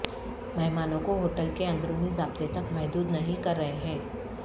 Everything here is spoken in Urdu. مہمانوں کو ہوٹل کے اندرونی ضابطے تک محدود نہیں کر رہے ہیں